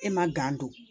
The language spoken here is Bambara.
E ma don